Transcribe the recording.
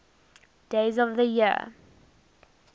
days of the year